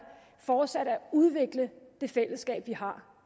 fortsat at udvikle det fællesskab vi har